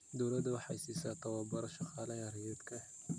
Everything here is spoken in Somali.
Dawladdu waxay siisaa tababaro shaqaalaha rayidka ah.